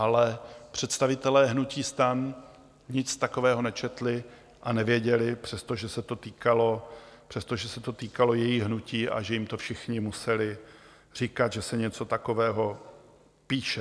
Ale představitelé hnutí STAN nic takového nečetli a nevěděli, přestože se to týkalo jejich hnutí, a že jim to všichni museli říkat, že se něco takového píše.